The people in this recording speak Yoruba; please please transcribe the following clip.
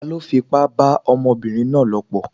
Taló fipá bá ọmọbìnrin náà lòpọ̀?